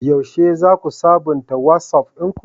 Yaushe za ku sabunta Wasof ɗinku?